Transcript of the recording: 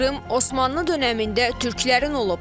Krım Osmanlı dönəmində türklərin olub.